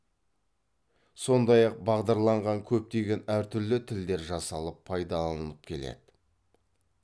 сондай ақ бағдарланған көптеген әртүрлі тілдер жасалып пайдаланылып келеді